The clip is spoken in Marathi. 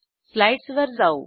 स्लाईडसवर जाऊ